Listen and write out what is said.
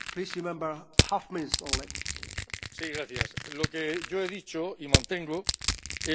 Lo que yo he dicho, y mantengo, es que hay que regionalizar la política europea.